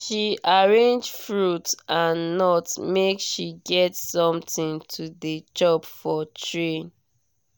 she arrange fruit and nut make she get something to dey chop for train.